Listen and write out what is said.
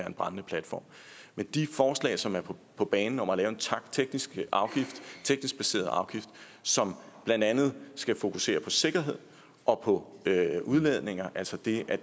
en brændende platform de forslag som er på banen om at lave en teknisk baseret afgift som blandt andet skal fokusere på sikkerhed og på udledninger altså det at